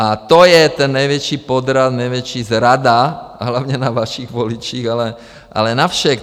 A to je ten největší podraz, největší zrada hlavně na vašich voličích, ale na všech.